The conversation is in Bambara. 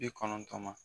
Bi kɔnɔntɔn ma